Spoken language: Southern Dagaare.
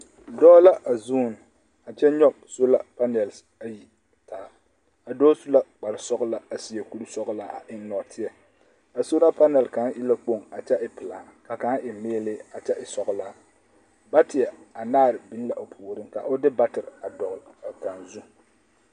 Dɔɔ la a zuu a kyɛ nyɔge sola panɛl ayi taa a dɔɔ su la kpare sɔglaa a seɛ kuri sɔglaa a eŋ nɔɔteɛ a sola panɛl kaŋa e ka kpoŋ a kyɛ e pelaa ka kaŋa e meelee a kyɛ e sɔglaa bateɛ anaare biŋ la o puoriŋ ka o de bateɛ dɔgle a kaŋa zu.